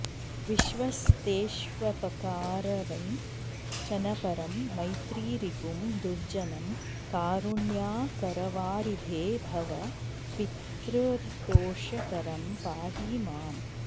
विश्वस्तेष्वपकारवञ्चनपरं मैत्रीरिपुं दुर्जनं कारुण्याकरवारिधे भव पितर्दोषकरं पाहि माम्